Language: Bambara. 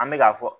An bɛ k'a fɔ